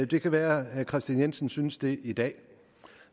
det kan være herre kristian jensen synes det i dag